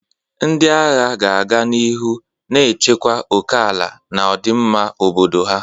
Ndị agha ga-aga n'ihu na-echekwa oke ala na ọdịmma obodo ha.